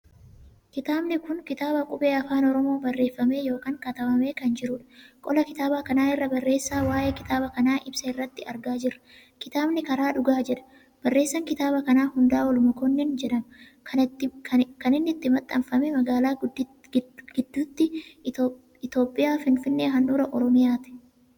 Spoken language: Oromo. Kitaabni kun kitaaba qubee Afaan Oromoo barreeffamee ykn katabamee kan jiruudha. qola kitaaba kanaa irra barreessa waa'ee kitaaba kana ibsa irratti argaa jirra. kitaabni karaa dhugaa jedha. bareessaan kitaaba kanaa Hundaa'ool Mokonnin jedhama. kan inni itti maxxanfamee magaalaa gidduutti Itoophiyaa finfinnee handhuraa oromiyaati.